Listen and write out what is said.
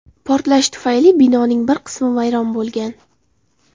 Portlash tufayli binoning bir qismi vayron bo‘lgan.